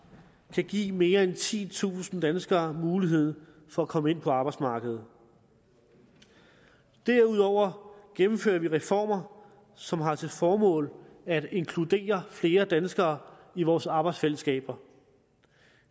kan give mere end titusind danskere mulighed for at komme ind på arbejdsmarkedet derudover gennemfører vi reformer som har til formål at inkludere flere danskere i vores arbejdsfællesskaber